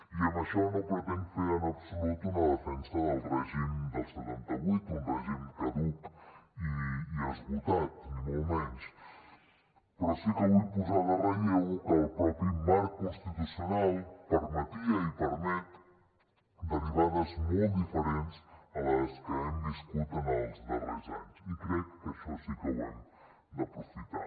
i amb això no pretenc fer en absolut una defensa del règim del setanta vuit un règim caduc i esgotat ni molt menys però sí que vull posar en relleu que el mateix marc constitucional permetia i permet derivades molt diferents a les que hem viscut en els darrers anys i crec que això sí que ho hem d’aprofitar